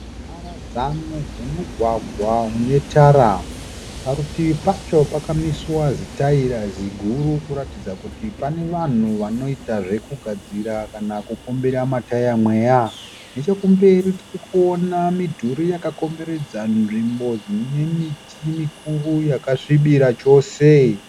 Mharadzano dzemugwagwa une tara. Parutivi pacho pakamiswa zitaera ziguru kuratidza kuti pane vanhu vanoita zvekugadzira kana kupombera ma taya mweya. Nechekumberi tirikuona midhuri yakakomberedza nzvimbo ine miti mikuru yakasvibirira chose.